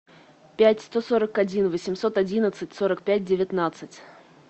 пять сто сорок один восемьсот одиннадцать сорок пять девятнадцать